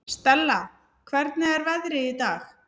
Stella, hvernig er veðrið í dag?